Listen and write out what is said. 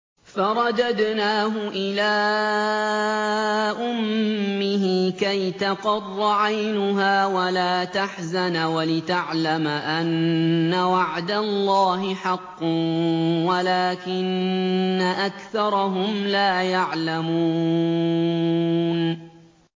فَرَدَدْنَاهُ إِلَىٰ أُمِّهِ كَيْ تَقَرَّ عَيْنُهَا وَلَا تَحْزَنَ وَلِتَعْلَمَ أَنَّ وَعْدَ اللَّهِ حَقٌّ وَلَٰكِنَّ أَكْثَرَهُمْ لَا يَعْلَمُونَ